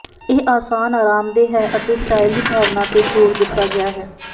ਇਹ ਆਸਾਨ ਅਰਾਮਦੇਹ ਹੈ ਅਤੇ ਸਟਾਈਲ ਦੀ ਭਾਵਨਾ ਤੇ ਜ਼ੋਰ ਦਿੱਤਾ ਗਿਆ ਹੈ